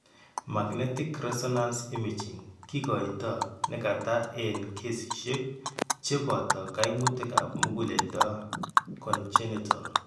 Magnetic resonance imaging kikoito ne kata en kesiisyek chebooto kaimutikap muguleldo congenital.